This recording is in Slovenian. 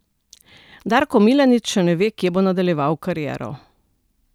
Darko Milanič še ne ve, kje bo nadaljeval kariero.